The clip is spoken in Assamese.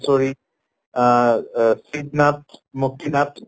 শ্বৰী অহ অ নাথ